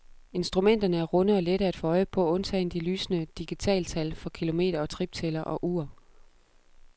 Instrumenterne er runde og lette at få øje på undtagen de lysende digitaltal for kilometer- og triptæller og ur.